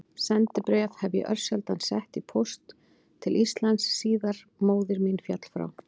Sendibréf hef ég örsjaldan sett í póst til Íslands síðan móðir mín féll frá.